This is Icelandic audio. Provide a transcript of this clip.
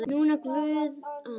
Nína Guðrún og Katrín.